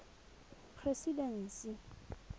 presidency